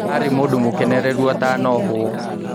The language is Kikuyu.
Arĩ mũndũ mũkenereru atana ohwo